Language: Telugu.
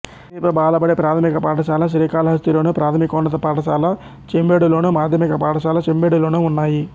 సమీప బాలబడి ప్రాథమిక పాఠశాల శ్రీకాళహస్తిలోను ప్రాథమికోన్నత పాఠశాల చెంబేడులోను మాధ్యమిక పాఠశాల చెంబేడులోనూ ఉన్నాయి